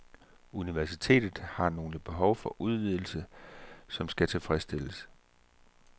Universitetet har nogle behov for udvidelse, som skal tilfredsstilles.